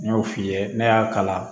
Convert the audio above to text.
N y'o f'i ye ne y'a kala